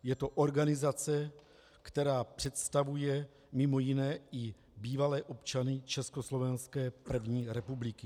Je to organizace, která představuje mimo jiné i bývalé občany Československé první republiky.